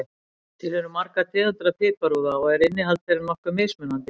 Til eru margar tegundir af piparúða og er innihald þeirra nokkuð mismunandi.